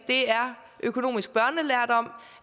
det er økonomisk børnelærdom